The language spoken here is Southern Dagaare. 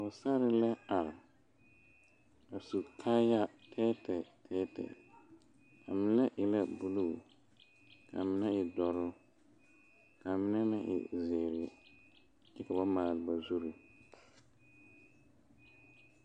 Pɔgesera la are a su kaaya tɛɛtɛɛ a mine e la buluu kaa mine e doɔre kaa mine meŋ e ziiri kyɛ ka ba maale ba zure.